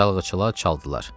Çalgıçılar çaldılar.